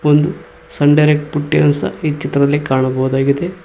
ಒಂದು Sun Direct ಪುಟ್ಟಿಯನ್ನು ಸಹ ಈ ಚಿತ್ರದಲ್ಲಿ ಕಾಣಬಹುದಾಗಿದೆ.